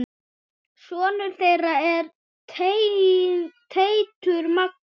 Sonur þeirra er Teitur Magnús.